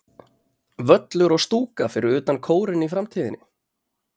Völlur og stúka fyrir utan Kórinn í framtíðinni?